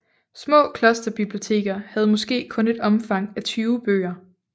Små klosterbiblioteker havde måske kun et omfang af 20 bøger